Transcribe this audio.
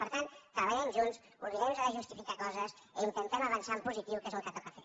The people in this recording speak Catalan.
per tant treballem junts oblidem nos de justificar coses i intentem avançar en positiu que és el que toca fer